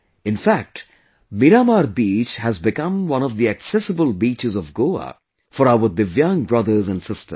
In fact, 'Miramar Beach' has become one of the accessible beaches of Goa for our Divyang brothers and sisters